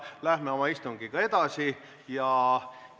Läheme istungiga edasi!